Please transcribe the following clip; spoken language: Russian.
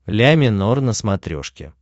ля минор на смотрешке